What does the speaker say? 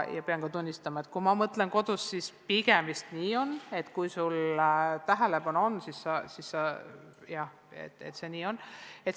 Pean tunnistama, et kui ma mõtlen kodus olevatele lastele, siis pigem see vist nii on, jah.